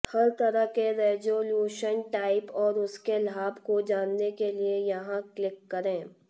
हर तरह के resolution type और उसके लाभ को जानने के लिए यहां क्लिक करें